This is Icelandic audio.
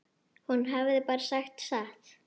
Hún hafði bara sagt satt.